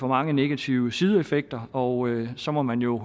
mange negative sideeffekter og så må man jo